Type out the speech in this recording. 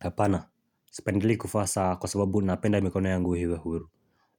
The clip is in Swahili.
Hapana, sipendelei kuvaa saa kwa sababu napenda mikono yangu iwe huru